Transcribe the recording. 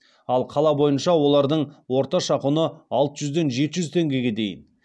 ал қала бойынша олардың орташа құны алты жүзден жеті жүз теңгеге дейін